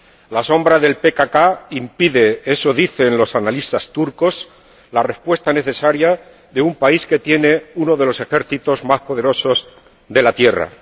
La sombra del PKK impide —eso dicen los analistas turcos— la respuesta necesaria de un país que tiene uno de los ejércitos más poderosos de la tierra.